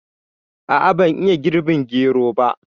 A'a ban iya girɓin gero ba